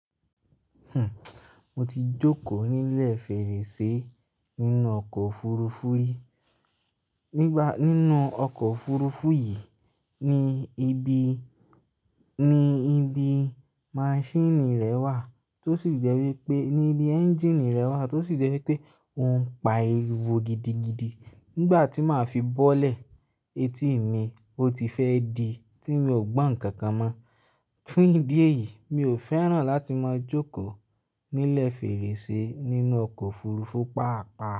Mo ti jókòó ní lẹ̀ fèrèsé nínú ọkọ̀ òfurufú rí. Nígba nínú ọkọ̀ òfurufú yìí ni ibi, ni ibi maṣíìnì rẹ̀ wà tó sì jẹ́ wí pé níbi Ẹ́ńjíìnì rẹ̀ wà tó sì jẹ́ wí pé oń pariwo gidigidi. Nígbà tí màá fi boọ́lẹ̀ etí mi, ó ti fẹ́ di tí mi ò gbọ́ ǹkan kan mọ́. Fún ìdí èyí, mi ò fẹ́ràn láti máa jókòó nílẹ̀ fèrèsé nínú ọkọ̀ òfurufú pàápàá.